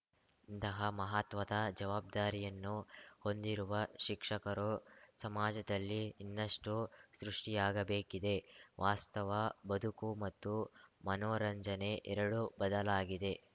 ಇಂತಹ ಮಹತ್ವದ ಜವಾಬ್ದಾರಿಯನ್ನು ಹೊಂದಿರುವ ಶಿಕ್ಷಕರು ಸಮಾಜದಲ್ಲಿ ಇನ್ನಷ್ಟುಸೃಷ್ಟಿಆಗಬೇಕಿದೆ ವಾಸ್ತವ ಬದುಕು ಮತ್ತು ಮನೊರಂಜನೆ ಎರಡೂ ಬದಲಾಗಿದೆ